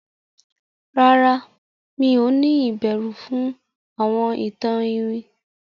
ràrá mi'o ni ìbẹrù fún àwọn ìtàn iwin?